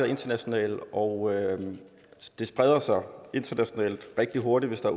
internationale og det spreder sig internationalt rigtig hurtigt hvis der